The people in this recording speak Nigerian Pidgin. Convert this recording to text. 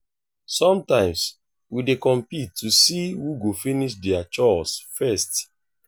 sometimes we dey compete to see who go finish their chores first.